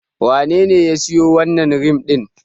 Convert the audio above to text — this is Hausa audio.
Wanene ya siyo wannan rim din?